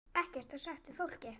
Ekkert var sagt við fólkið.